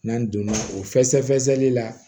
N'an donna o fɛsɛfɛsɛli la